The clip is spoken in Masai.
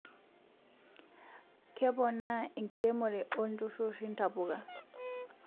Keepona enkiremore olntururi ntapuka